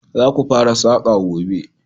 Za ku fara saƙa gobe!